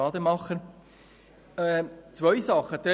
Wir sehen zwei Arten von Handlungsbedarf.